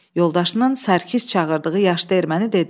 Yoldaşının Sərkis çağırdığı yaşlı erməni dedi: